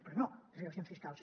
però no les reduccions fiscals